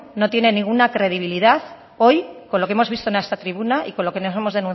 no tiene ninguna credibilidad hoy con lo que hemos visto en esta tribuna y con lo que nos hemos